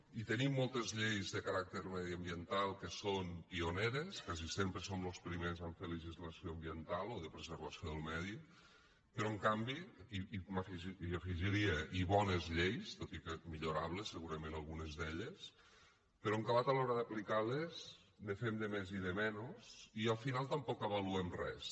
i tenim moltes lleis de caràcter mediambiental que són pioneres quasi sempre som los primers a fer legislació ambiental o de preservació del medi però en canvi i hi afegiria i bones lleis tot i que millorables segurament algunes d’elles però en acabat a l’hora d’aplicar les ne fem de més i de menys i al final tampoc avaluem res